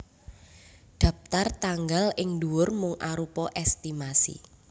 Dhaptar tanggal ing ndhuwur mung arupa èstimasi